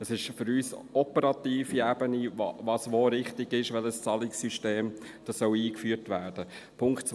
Es ist für uns eine operative Ebene, was wo richtig ist, welches Zahlungssystem eingeführt werden soll.